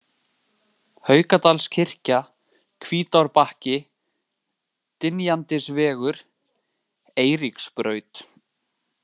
Haukadalskirkja, Hvítárbakki, Dynjandisvegur, Eiríksbraut